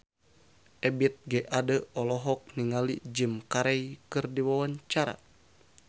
Ebith G. Ade olohok ningali Jim Carey keur diwawancara